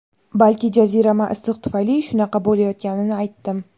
balki jazirama issiq tufayli shunaqa bo‘layotganini aytdim.